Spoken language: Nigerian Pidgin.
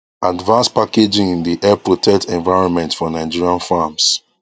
advance packaging dey help protect environment for nigerian farms